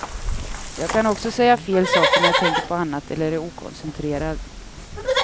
Jag kan också säga fel saker när jag tänker på annat eller är okoncentrerad.